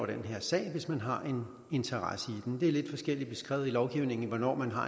den her sag hvis man har en interesse i den det er lidt forskelligt beskrevet i lovgivningen hvornår man har